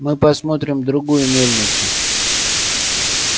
мы посмотрим другую мельницу